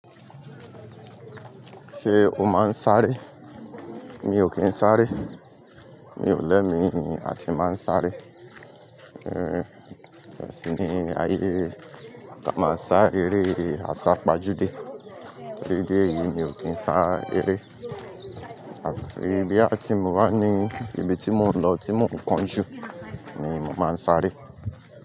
Ṣé o máa ń sáré? Mi ò kí ń sáré. Mi ò lẹ́mi àti máa ń sáré. Eré, ẹṣin ni ayé, a máa ń sá eré, a sá pajú dé. Eré díẹ̀ yìí mi ò kí ń sá eré. Àfi boyà ti mo bá ní, ibi tí mo ń lọ tí mo kánjú ni mo máa ń sáré.